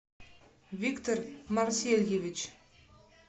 виктор марсельевич